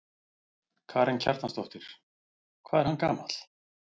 Karen Kjartansdóttir: Hvað er hann gamall?